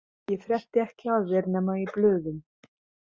Ég frétti ekki af þér nema í blöðum.